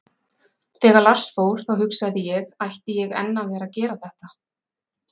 Þegar Lars fór, þá hugsaði ég, ætti ég enn að vera að gera þetta?